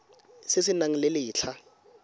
se se nang le letlha